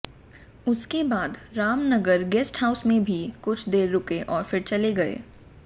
उसके बाद Ramnagar guest house में भी कुछ देर रुके और फिर चले गए